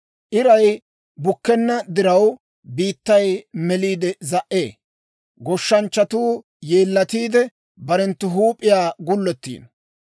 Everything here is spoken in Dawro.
Iray bukkenna diraw, biittay meliide za"ee. Goshshanchchatuu yeellatiide, barenttu huup'iyaa gullettiino.